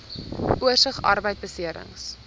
oorsig arbeidbeserings